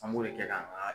An b'o de kɛ k'a